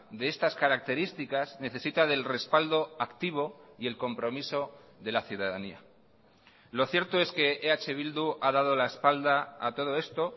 de estas características necesita del respaldo activo y el compromiso de la ciudadanía lo cierto es que eh bildu ha dado la espalda a todo esto